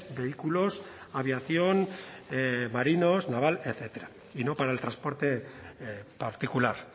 vehículos aviación marinos naval etcétera y no para el transporte particular